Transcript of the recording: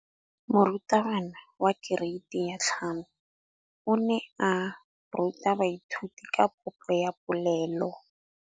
Moratabana wa kereiti ya 5 o ne a ruta baithuti ka popô ya polelô.